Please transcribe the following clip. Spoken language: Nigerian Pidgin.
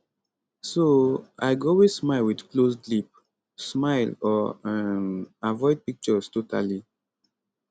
so i go always smile wit closed lip smile or um avoid pictures totally